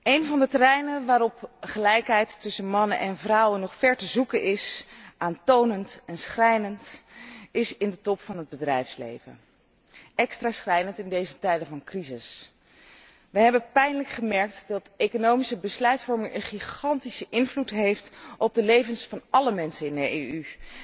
Een van de terreinen waarop gelijkheid tussen mannen en vrouwen nog ver te zoeken is, aantonend en schrijnend, is in de top van het bedrijfsleven. Extra schrijnend in deze tijden van crisis. We hebben pijnlijk gemerkt dat economische besluitvorming een gigantische invloed heeft op de levens van alle mensen in de EU.